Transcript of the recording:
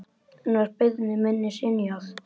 Enn var beiðni minni synjað.